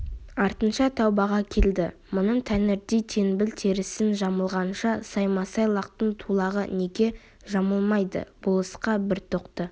артынша тәубаға келді мұның тәңірдей теңбіл терісін жамылғанша саймасай лақтың тулағын неге жамылмайды болысқа бір тоқты